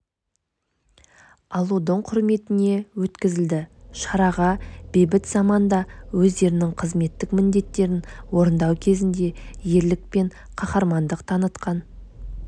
алудың құрметіне өткізілді шараға бейбіт заманда өздерінің қызметтік міндеттерін орындау кезінде ерлік пен қаһармандық танытқан